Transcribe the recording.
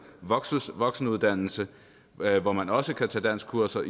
voksenuddannelse hvor man også kan tage danskkurser